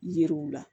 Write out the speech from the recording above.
Yiriw la